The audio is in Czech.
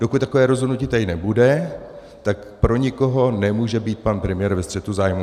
Dokud takové rozhodnutí tady nebude, tak pro nikoho nemůže být pan premiér ve střetu zájmů.